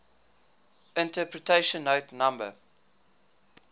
interpretation note no